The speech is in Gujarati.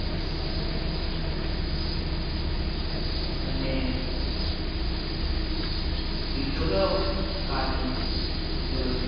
અને બીજો કયો કાર્ટૂન જોયો છે